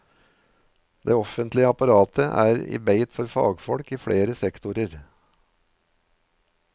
Det offentlige apparatet er i beit for fagfolk i flere sektorer.